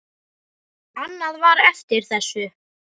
Annað var eftir þessu.